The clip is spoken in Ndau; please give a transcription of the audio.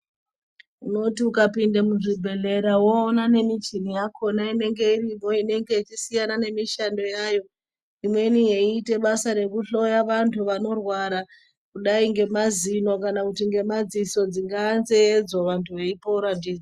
Unoti ukapinda muzvibhedhlera woona nemichini yakona inenge iripo inenge ichisiyana ngemishando yayo imweni yeita basa rekuhloya antu vanorwara kudai ngemazino kana kuti ngemadziso dzingave nzeyedzo antu eipora .